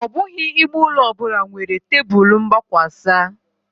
Ọ bụghị ime ụlọ ọ bụla nwere tebụl mgbakwasa